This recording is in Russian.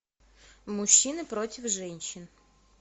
мужчины против женщин